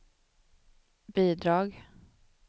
bidrag